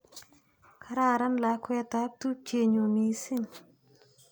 Kararan lakwet ap tupchenyu missing'.